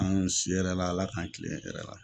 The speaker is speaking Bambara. An si la hɛrɛ la Ala k'an kilen hɛrɛ la.